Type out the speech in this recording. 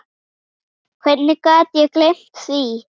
Hvernig gat ég gleymt því?